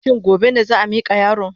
Shin gobe ne za a mika yaron?